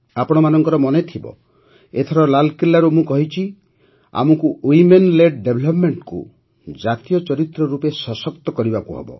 ଆପଣମାନଙ୍କର ମନେଥିବ ଏଥର ଲାଲକିଲ୍ଲାରୁ ମୁଁ କହିଛି ଯେ ଆମକୁ ୱିମେନ୍ ଲେଡ୍ ଡେଭେଲପ୍ମେଂଟ୍ କୁ ଜାତୀୟ ଚରିତ୍ର ରୂପେ ସଶକ୍ତ କରିବାକୁ ହେବ